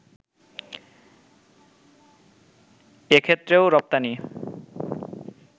এক্ষেত্রেও রপ্তানি